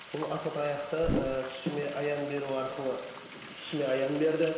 бұл асатаяқты ы түсіме аян беру арқылы түсіме аян берді